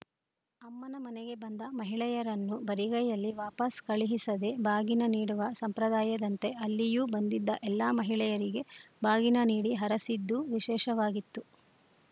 ಅಮ್ಮನ ಮನೆಗೆ ಬಂದ ಮಹಿಳೆಯರನ್ನು ಬರಿಗೈನಲ್ಲಿ ವಾಪಸ್‌ ಕಳುಹಿಸದೇ ಬಾಗಿನ ನೀಡುವ ಸಂಪ್ರದಾಯದಂತೆ ಅಲ್ಲಿಯೂ ಬಂದಿದ್ದ ಎಲ್ಲಾ ಮಹಿಳೆಯರಿಗೆ ಬಾಗಿನ ನೀಡಿ ಹರಸಿದ್ದು ವಿಶೇಷವಾಗಿತ್ತು